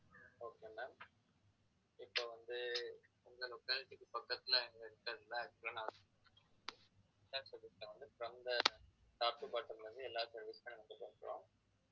okay ma'am இப்ப வந்து உங்க locality க்கு பக்கத்துல from the top to bottom ல இருந்து எல்லா service மே நாங்க பண்றோம்